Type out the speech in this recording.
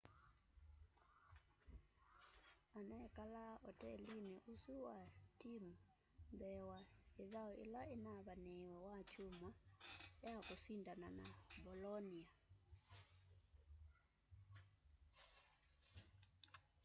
anekalaa otelini osu wa timu mbee wa ithau ila inavaniiwe wakyumwa ya kusindana na bolonia